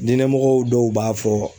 Diinɛ mɔgɔw dɔw b'a fɔ